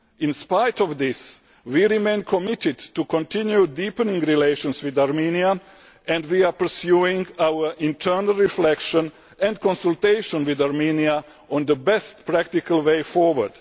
In spite of this, we remain committed to continue deepening relations with Armenia, and we are pursuing our internal reflection and consultations with Armenia on the best practical way forward.